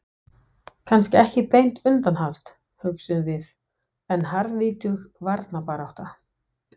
Kannski ekki beint undanhald, hugsuðum við, en harðvítug varnarbarátta.